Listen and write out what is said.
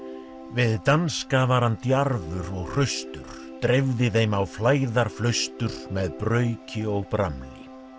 við danska var hann djarfur og hraustur dreifði þeim á með brauki og bramli